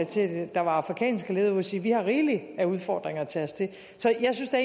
til der var afrikanske ledere ude at sige vi har rigeligt med udfordringer at tage os af så jeg synes da